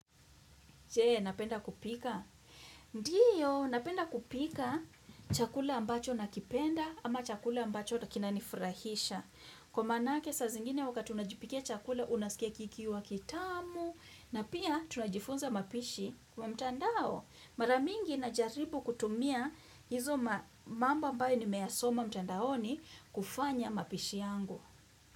Je, napenda kupika? Ndio, napenda kupika chakula ambacho na kipenda ama chakula ambacho kina nifurahisha. Kwa maanake saa zingine wakati unajipikia chakula unasikia kikiwa kitamu na pia tunajifunza mapishi wa mtandao. Mara mingi najaribu kutumia hizo mambo ambayo nimeyasoma mtandaoni kufanya mapishi yangu.